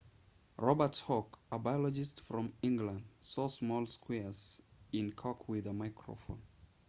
robert hooke a biologist from england saw small squares in cork with a microscope